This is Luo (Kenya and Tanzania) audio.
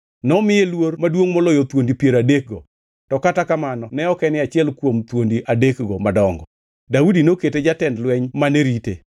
Nomiye luor maduongʼ moloyo thuondi piero adekgo, to kata kamano ne ok en achiel kuom thuondi adekgo madongo. Daudi nokete jatend jolweny mane rite.